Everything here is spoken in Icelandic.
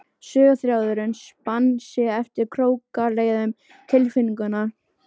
Söguþráðurinn spann sig eftir krókaleiðum tilfinninganna.